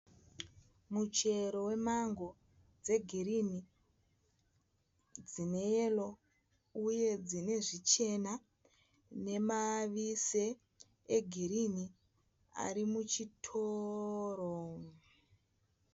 Muchero wemango dze girinhi, dzine yero uye dzine zvichena. nema vise e girinhi ari muchitoro.